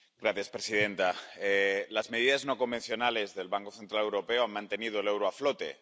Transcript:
Señora presidenta, las medidas no convencionales del Banco Central Europeo han mantenido el euro a flote.